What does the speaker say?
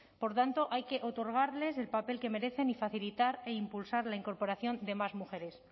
por tanto hay que otorgarles el papel que merecen y facilitar e impulsar la incorporación de más mujeres